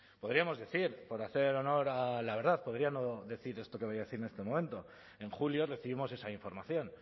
podríamos decir por hacer honor a la verdad podría no decir esto que me voy a decir en este momento en julio recibimos esa información